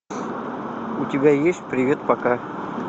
у тебя есть привет пока